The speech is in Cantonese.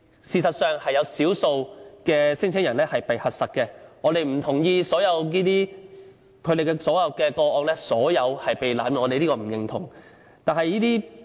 事實上，也有少數聲請人被核實，故此我們不同意所有個案都是被濫用，這是我們所不認同的。